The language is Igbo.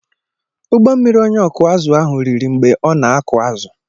Ụgbọ mmiri onye ọkụ azụ̀ ahụ riri mgbe ọ na-akụ azụ̀.